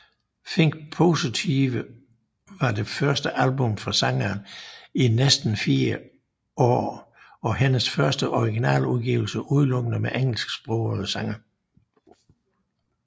Think Positive var det første album fra sangeren i næsten fire år og hendes første originaludgivelse udelukkende med engelsksprogede sange